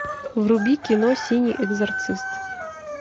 вруби кино синий экзорцист